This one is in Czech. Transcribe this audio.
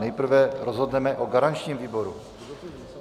Nejprve rozhodneme o garančním výboru.